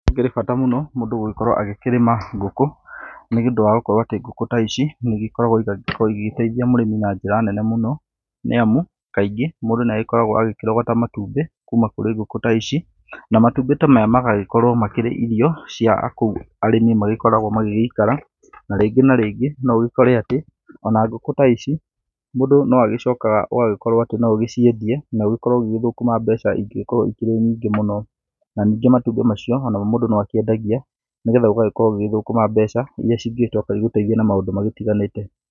Gũkĩrĩ bata mũno mũndũ gũgĩkorwo agĩkĩrĩma ngũkũ, nĩũndũ wa gũgĩkorwo atĩ ngũkũ ta ici nĩigĩkoragwo igĩteithia mũrĩmi na njĩra nene mũno. Nĩamu, kaingĩ mũndũ nĩ agĩkoragwo agĩkĩrogota matumbĩ kuuma kũrĩ ngũkũ ta ici, na matumbĩ ta maya magagĩkorwo makĩrĩ irio cia kũu arĩmi magĩgĩkoragwo magĩgĩikara. Na rĩngĩ na rĩngĩ no ũgĩkore atĩ ona ngũkũ ta ici mũndũ no agĩcokaga ũgakorwo atĩ no ũgĩciendie na ũgĩkorwo ũgĩgĩthũkũma mbeca ingĩgĩkorwo ikĩrĩ nyingĩ mũno. Na nĩngĩ matumbĩ macio onamo mũndũ no akĩendagia nĩgetha ũgagĩkorwo ũgĩgĩthũkũma mbeca irĩa cingĩgĩcoka igũteithie na maũndũ matiganĩte.